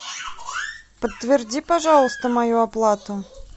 подтверди пожалуйста мою оплату